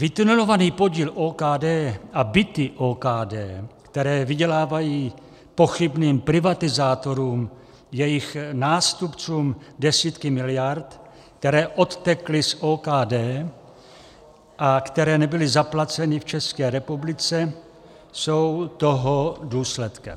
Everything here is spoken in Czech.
Vytunelovaný podíl OKD a byty OKD, které vydělávají pochybným privatizátorům jejich nástupců desítky miliard, které odtekly z OKD a které nebyly zaplaceny v České republice, jsou toho důsledkem.